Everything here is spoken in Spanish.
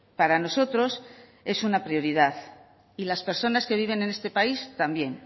para nosotros es una prioridad y las personas que viven en este país también